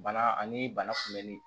Bana ani bana kunbɛnli